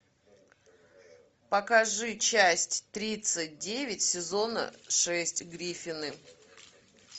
покажи часть тридцать девять сезона шесть гриффины